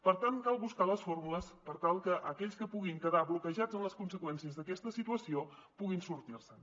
per tant cal buscar les fórmules per tal que aquells que puguin quedar bloquejats en les conseqüències d’aquesta situació puguin sortir se’n